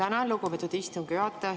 Tänan, lugupeetud istungi juhataja!